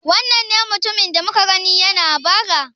Wannan ne mutumin da muka gani yana bara?